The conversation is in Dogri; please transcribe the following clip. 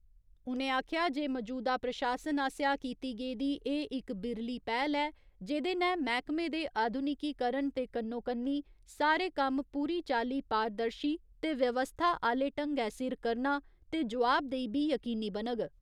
उ'नें आखेआ जे मजूदा प्रशासन आसेआ कीती गेदी एह् इक बिरली पैह्‌ल ऐ जेह्दे नै मैह्कमे दे आधुनिकिकरण दे कन्नो कन्नी सारे कम्म पूरी चाल्ली पारदर्शी ते व्यवस्था आह्‌ले ढंगै सिर करना ते जोआबदेही बी यकीनी बनग।